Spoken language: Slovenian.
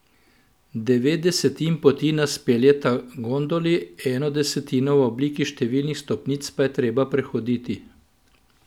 Devet desetin poti nas peljeta gondoli, eno desetino v obliki številnih stopnic pa je treba prehoditi.